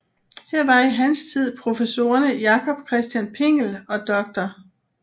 Her var i hans tid professorerne Jacob Christian Pingel og dr